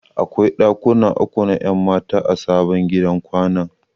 Akwai ɗakuna uku na 'yan mata a sabon gidan kwanan.